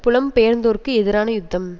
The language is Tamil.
புலம்பெயர்ந்தோருக்கு எதிரான யுத்தம்